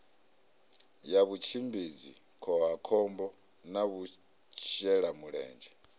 ya vhutshimbidzi khohakhombo na vhashelamulenzhe